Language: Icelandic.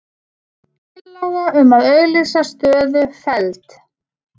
Tillaga um að auglýsa stöðu felld